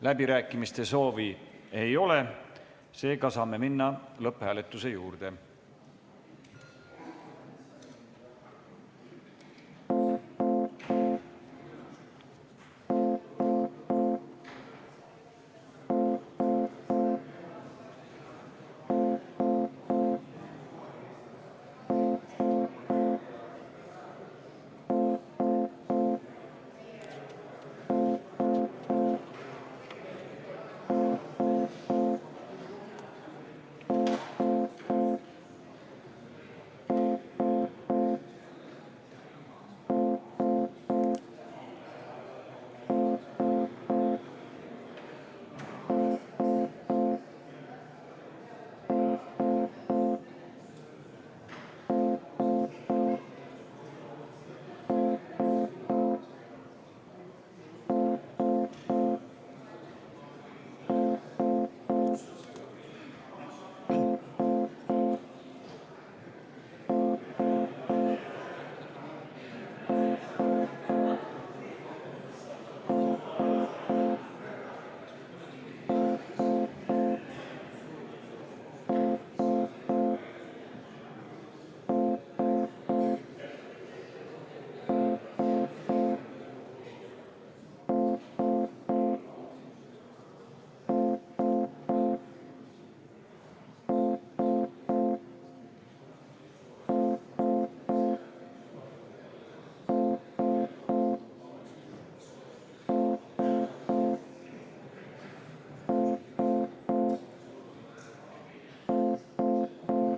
Läbirääkimiste soovi ei ole, seega saame minna lõpphääletuse juurde.